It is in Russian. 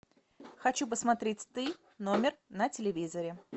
хочу посмотреть ты номер на телевизоре